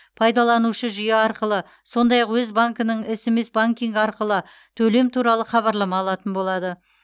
пайдаланушы жүйе арқылы сондай ақ өз банкінің смс банкингі арқылы төлем туралы хабарлама алатын болады